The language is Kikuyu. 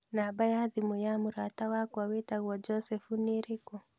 Namba ya thimũ ya mũrata wakwa witagwo Joseph nĩirĩkũ?